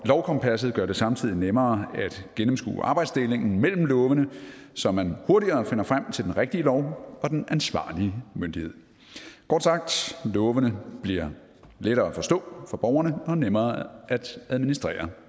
lovkompasset gør det samtidig nemmere at gennemskue arbejdsdelingen mellem lovene så man hurtigere finder frem til den rigtige lov og den ansvarlige myndighed kort sagt lovene bliver lettere at forstå for borgerne og nemmere at administrere